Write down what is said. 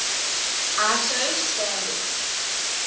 iso standards